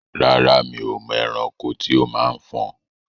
Rárá, mi ò mọ ẹranko tí ó máa ń fọn.